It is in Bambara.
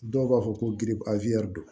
Dɔw b'a fɔ ko giri a don